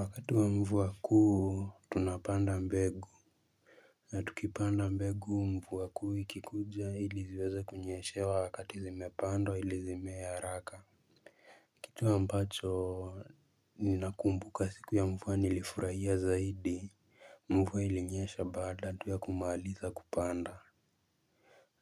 Wakati wa mvua kuu tunapanda mbegu na tukipanda mbegu mvua kuu ikikuja ili viweze kunyeshewa wakati zimepandwa ili zimee haraka Kitu ambacho ninakumbuka siku ya mvua nilifurahia zaidi mvuwa ilinyesha baada tu ya kumaliza kupanda